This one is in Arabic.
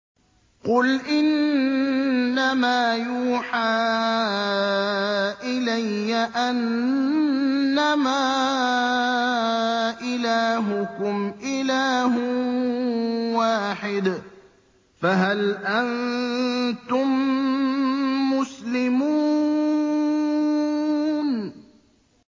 قُلْ إِنَّمَا يُوحَىٰ إِلَيَّ أَنَّمَا إِلَٰهُكُمْ إِلَٰهٌ وَاحِدٌ ۖ فَهَلْ أَنتُم مُّسْلِمُونَ